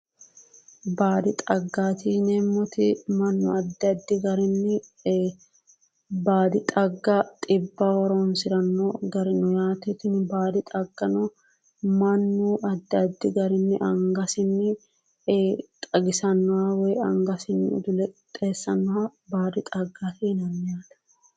Baadi xaggaati yineemmoti mannu addi addi garinni ee baadi xagga xibbaho horornsiranno gari no yaate tini baadi xaggano mannu addi addi garinni angasinni ee xagisannoha woyi angasinni udule qixxeessannoha baadi xaggaati yinanni yaate